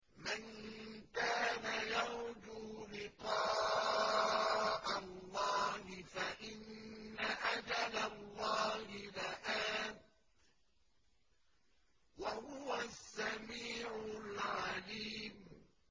مَن كَانَ يَرْجُو لِقَاءَ اللَّهِ فَإِنَّ أَجَلَ اللَّهِ لَآتٍ ۚ وَهُوَ السَّمِيعُ الْعَلِيمُ